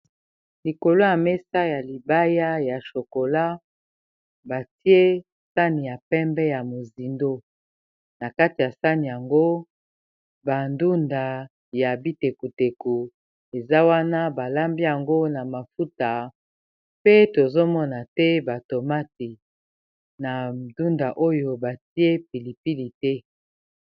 Likolo ya mesa ya libaya ya shokola batie sani ya pembe ya mozindo na kati ya sane yango bandunda ya bitekoteko eza wana balambi yango na mafuta pe tozomona te batomati na ndunda oyo batie pilipili te.